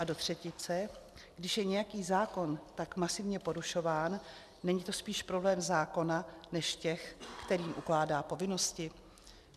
A do třetice, když je nějaký zákon tak masivně porušován, není to spíš problém zákona než těch, kterým ukládá povinnosti?